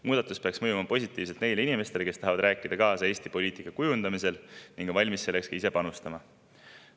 Muudatus peaks mõjuma positiivselt neile inimestele, kes tahavad rääkida kaasa Eesti poliitika kujundamisel ning on valmis selleks ise panustama.